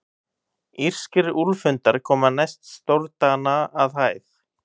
Írskir úlfhundar koma næst stórdana að hæð.